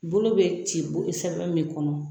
Bolo bɛ ci sɛbɛn min kɔnɔ